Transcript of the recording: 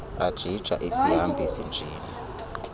ajija isihambisi njini